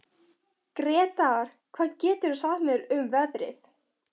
Gretar, hvað geturðu sagt mér um veðrið?